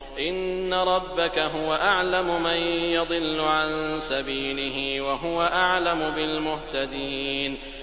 إِنَّ رَبَّكَ هُوَ أَعْلَمُ مَن يَضِلُّ عَن سَبِيلِهِ ۖ وَهُوَ أَعْلَمُ بِالْمُهْتَدِينَ